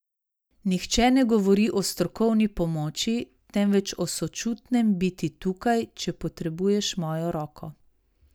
Nihče ne govori o strokovni pomoči, temveč o sočutnem biti tukaj, če potrebuješ mojo roko.